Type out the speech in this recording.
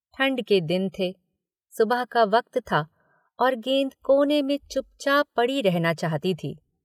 ठंड के दिन थे सुबह का वक्त था और गेंद कोने में चुपचाप पड़ी रहना चाहती थी।